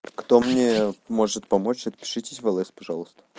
кто мне может помочь отпишитесь в л с пожалуйста